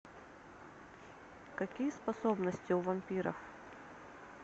какие способности у вампиров